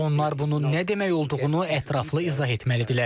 Onlar bunun nə demək olduğunu ətraflı izah etməlidirlər.